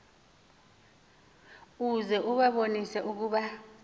uze ubabonise ukuba